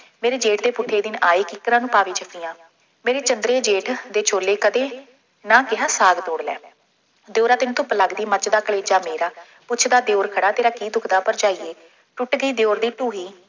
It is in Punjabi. ਮੇਰੇ ਜੇਠ ਦੇ ਪੁੱਠੇ ਦਿਨ ਆਏ, ਕਿੱਕਰਾਂ ਨੂੰ ਪਾਵੇ ਜੱਫੀਆਂ, ਮੇਰੇ ਚੰਦਰੇ ਜੇਠ ਦੇ ਛੋਲੇ ਕਦੇ, ਨਾ ਕਿਹਾ ਸਾਗ ਤੋੜ ਲੈ, ਦਿਉਰਾ ਤੈਨੂੰ ਧੁੱਪ ਲੱਗਦੀ, ਮੱਚਦਾ ਕਲੇਜਾ ਮੇਰਾ, ਪੁੱਛਦਾ ਦਿਉਰ ਖੜ੍ਹਾ ਤੇਰਾ ਕੀ ਦੁੱਖਦਾ, ਭਰਜਾਈਏ, ਟੁੱਟ ਗਈ ਦਿਉਰ ਦੀ ਢੂੰਹੀ,